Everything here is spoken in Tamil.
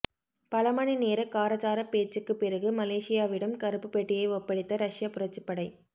பல மணிநேர காரசார பேச்சுக்குப் பிறகு மலேசியாவிடம் கருப்பு பெட்டியை ஒப்படைத்த ரஷ்ய புரட்சிப்படை